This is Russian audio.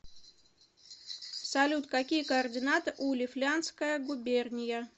салют какие координаты у лифляндская губерния